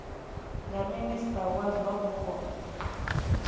nga minista wa zwa mupo